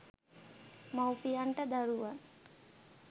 මවුපියන්ට දරුවන්